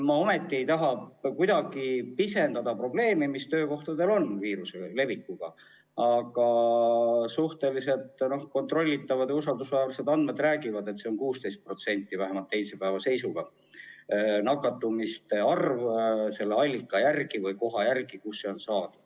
Ma ei taha mitte kuidagi pisendada probleemi, mis puudutab töökohtadel viiruse levikut, aga suhteliselt kontrollitavad ja usaldusväärsed andmed räägivad, et on 16%, vähemalt teisipäeva seisuga.